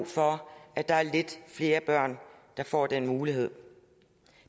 for at der er lidt flere børn der får den mulighed